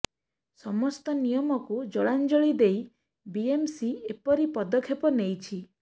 ସମସ୍ତ ନିୟମକୁ ଜଳାଞ୍ଜଳି ଦେଇ ବିଏମସି ଏପରି ପଦକ୍ଷେପ ନେଇଛି